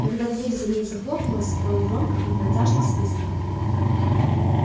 когда дверь за ней захлопнулась рон громко и протяжно свистнул